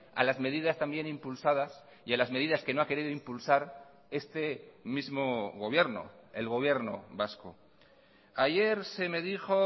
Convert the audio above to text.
a las medidas también impulsadas y a las medidas que no ha querido impulsar este mismo gobierno el gobierno vasco ayer se me dijo